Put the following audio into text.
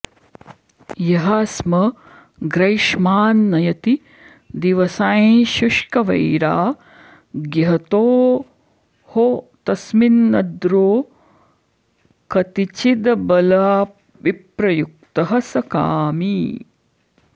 यः स्म ग्रैष्मान् नयति दिवसाञ्शुष्कवैराग्यहेतोः तस्मिन्नद्रौ कतिचिदबलाविप्रयुक्तः स कामी